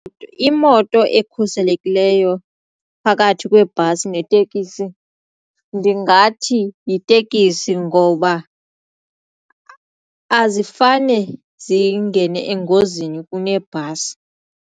Imoto ekhuselekileyo phakathi kwebhasi netekisi ndingathi yitekisi ngoba azifane zingene engozini kunebhasi.